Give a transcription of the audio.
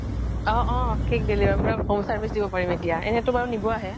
অহ্' অহ্' cake deliver কৰা home service দিব পাৰিম এতিয়া এনেই তোমাৰ নিব আহে